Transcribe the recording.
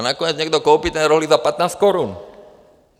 A nakonec někdo koupí ten rohlík za 15 korun.